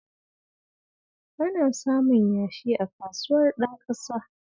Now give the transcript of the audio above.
Ana samun yashi a Kasuwar Ɗanƙasa